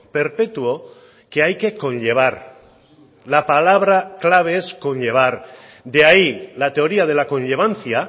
perpetuo que hay que conllevar la palabra clave es conllevar de ahí la teoría de la conllevancia